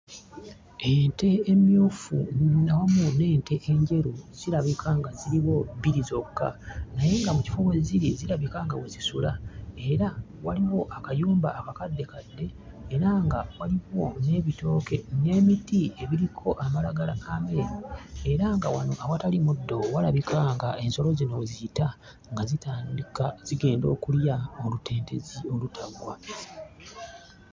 Ente emmyufu awamu n'ente enjeru zirabika nga ziriwo bbiri zokka naye nga mu kifo mwe ziri zirabika nga we zisula era waliwo akayumba akakaddekadde era nga waliwo n'ebitooke n'emiti ebiriko amalagala ameeru era nga wano awatali muddo walabika nga ensolo zino we ziyita nga zitandika zigenda okulya olutentezi olutaggwa.